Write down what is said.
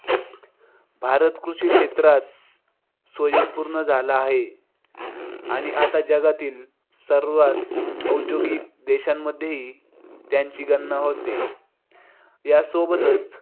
भारत कृषिक्षेत्रात स्वयंपूर्ण झाला हाय. आणि आता जगातील सर्वात औद्योगिक देशांमध्येही त्याची गणना होते. या सोबतच